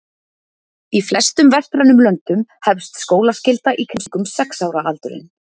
Í flestum vestrænum löndum hefst skólaskylda í kringum sex ára aldurinn.